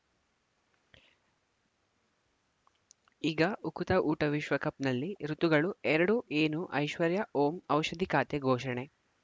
ಈಗ ಉಕುತ ಊಟ ವಿಶ್ವಕಪ್‌ನಲ್ಲಿ ಋತುಗಳು ಎರಡು ಏನು ಐಶ್ವರ್ಯಾ ಓಂ ಔಷಧಿ ಖಾತೆ ಘೋಷಣೆ